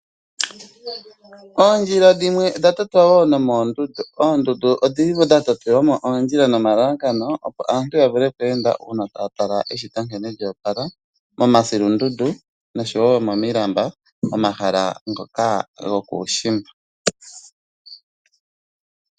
Oondjila dhimwe odha totwa moondundu nomalalakano opo aantu yavule okweenda moondundu uuna taya tala eshito nkene lyo opala momasilundundu nosho woo momilamba momahala ngoka gokuushimba.